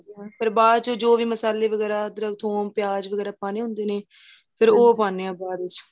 ਬਾਅਦ ਚ ਜੋ ਵੀ ਮਸ਼ਾਲੇ ਵਗੇਰਾ ਅੱਦਰਕ ਥੁੱਮ ਪਿਆਂਜ ਵਗੇਰਾ ਪਾਣੇ ਹੁੰਦੇ ਨੇ ਫ਼ਿਰ ਉਹ ਪਾਦੇ ਹਾਂ ਬਾਅਦ ਵਿੱਚ